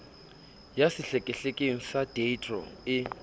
ya sehlekehleke sa deidro e